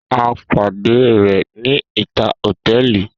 A pade rẹ ni ita hotẹẹli.